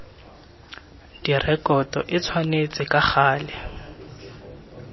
direkoto e tshwanetse ka gale